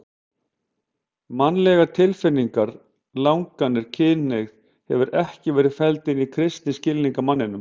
Mannlegar tilfinningar, langanir, kynhneigð hefur ekki verið felld inn í kristinn skilning á manninum.